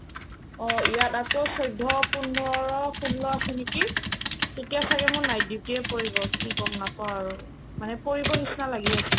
অ, ইয়াত আকৌ চৈধ্য ,পোন্ধৰ ,ষোল আছে নেকি তেতিয়া ছাগে মোৰ night duty য়ে পৰিব কি ক'ম নকও আৰু মানে পৰিবৰ নিচিনা লাগি আছে